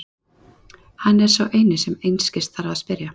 Hann er sá eini sem einskis þarf að spyrja.